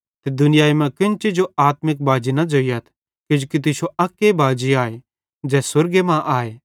ते दुनियाई मां केन्ची जो आत्मिक बाजी न ज़ोइयथ किजोकि तुश्शो अक्के बाजी आए ज़ै स्वर्गे मां आए